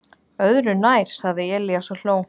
"""Öðru nær, sagði Elías og hló."""